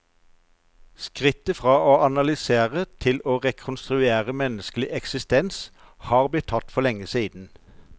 Skrittet fra å analysere til å rekonstruere menneskelig eksisten har blitt tatt for lenge siden.